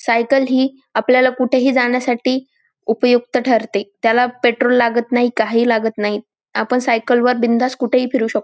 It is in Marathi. सायकल ही आपल्याला कुठेही जाण्यासाठी उपयुक्त ठरते त्याला पेट्रोल लागत नाही काही लागत नाही आपण सायकल वर बिनधास्त कुठेही फिरू शक--